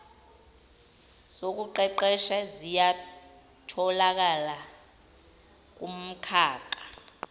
zokuqeqesha ziyatholakala kumkhakha